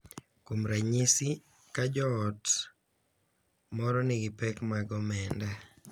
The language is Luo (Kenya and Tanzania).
Kuom ranyisi, ka joot moro nigi pek mag omenda, .